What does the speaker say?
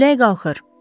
Külək qalxır!